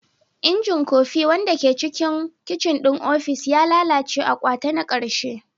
Injin kofi, wanda ke cikin kicin ɗin ofis, ya lalace a kwata na ƙarshe.